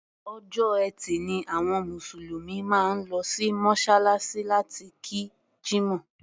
Ọjọ́ Ẹtì ni àwọn Mùsùlùmí máa ń lọ sí Mọ́ṣáláṣí láti kí Jímọ̀.